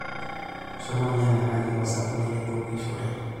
Shomo nyang'akaki osabuni laitukishore.